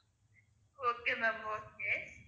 okay ma'am okay